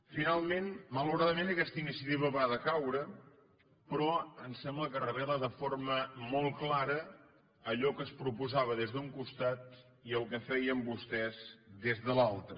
finalment malauradament aquesta iniciativa va decaure però em sembla que revela de forma molt clara allò que es proposava d’un costat i el que feien vostès des de l’altre